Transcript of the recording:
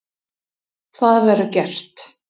Það verður gert.